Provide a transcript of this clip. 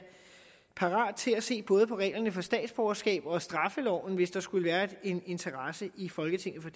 parat til at se både på reglerne for statsborgerskab og straffeloven hvis der skulle være en interesse i folketinget for